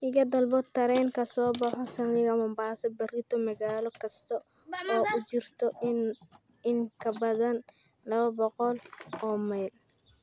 iga dalbo tareen ka soo baxa saldhiga mombasa berrito magaalo kasta oo u jirta in ka badan laba boqol oo mayl